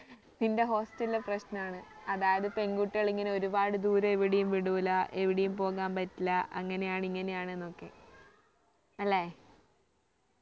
നിന്റെ hostel ലെ പ്രശ്നമാണ് അതായത് പെൺ കുട്ടികളെ ഇങ്ങനെ ഒരുപാട് ദൂരം എവിടെയും വിടൂല എവിടെയും പോകാൻപറ്റില്ല അങ്ങനെയാണ് ഇങ്ങനെയാണ് എന്നൊക്കെ അല്ലെ